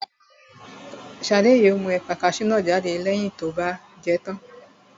Shade yóò mú ẹ̀pà kasú náà jáde lẹ́yìn tó bá jẹ tán